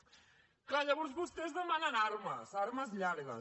és clar llavors vostès demanen armes armes llargues